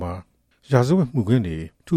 မှာ ရာဇဝတ်မှုခင်းတွေ ထူ